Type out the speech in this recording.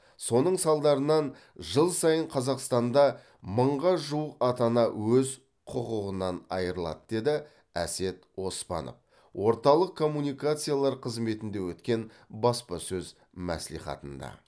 соның салдарынан жыл сайын қазақстанда мыңға жуық ата ана өз құқығынан айырылады деді әсет оспанов орталық коммуникациялар қызметінде өткен баспасөз мәслихатында